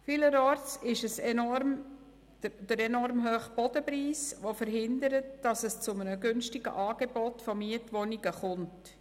Vielerorts verhindert der enorm hohe Bodenpreis, dass es zu einem günstigen Angebot von Mietwohnungen kommt.